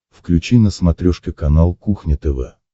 включи на смотрешке канал кухня тв